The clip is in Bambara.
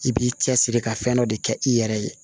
I b'i cɛsiri ka fɛn dɔ de kɛ i yɛrɛ ye